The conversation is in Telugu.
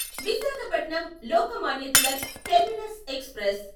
Visakhapatnam Lokmanya Tilak terminus express